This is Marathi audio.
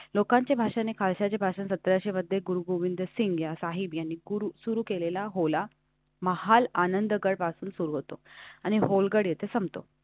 लोकांची भाषाने खालच्याचे भाषणसतराशे मध्ये गुरुगोविंद सिंह साहिब यांनी सुरु केलेला होला. महाल आनंदगड पासून सुरू होतो आणि होलकडे तसं तो.